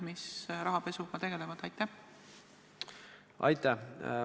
Aitäh!